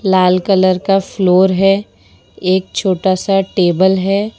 लाल colour का floor है एक छोटा सा टेबल है।